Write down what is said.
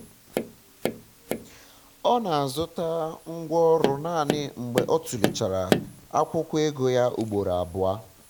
ọ na-azụta ngwá ọrụ naanị mgbe ọ um tụlechara akwụkwọ ego ya ụgboro abụọ